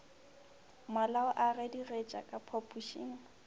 malao a gedigetša ka phapošeng